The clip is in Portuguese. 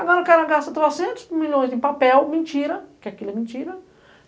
Agora o cara gasta trocentos milhões em papel, mentira, porque aquilo é mentira.